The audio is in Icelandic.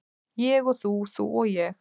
Ég og þú, þú og ég.